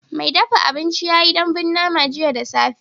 Mai dafa abinci ya yi dambun nama jiya da safe